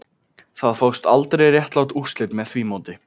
Það fást aldrei réttlát úrslit með því móti